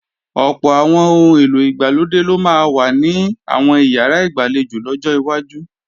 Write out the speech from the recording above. Ọ̀pọ̀ àwọn ohun èlò ìgbàlódé ló máa wà ní àwọn ìyàrá ìgbàlejò lọ́jọ́ iwájú